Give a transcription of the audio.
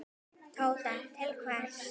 Tóta: Til hvers?